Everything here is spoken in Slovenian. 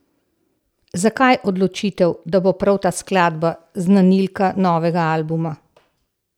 Zakaj odločitev, da bo prav ta skladba znanilka novega albuma?